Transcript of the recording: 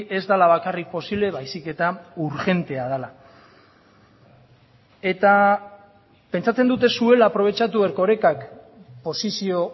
ez dela bakarrik posible baizik eta urgentea dela eta pentsatzen dut ez zuela aprobetxatu erkorekak posizio